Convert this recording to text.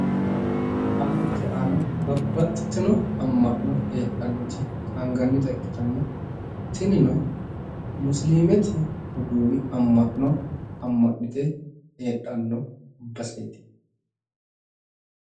Alamete aana babbaxxitino amma'no heedhannoti qaangannita ikkitanna tinino musiliimete roduuwi amma'no amma'nite heedhanno baseeti